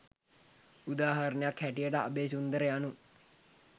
උදාහරණයක් හැටියට අබේසුන්දර යනු